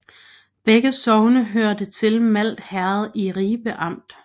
Begge sogne hørte til Malt Herred i Ribe Amt